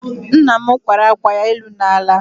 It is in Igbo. Nna m kwara akwa ya, enu na ala